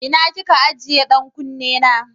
Ina ki ke ajiye ɗan kunne na?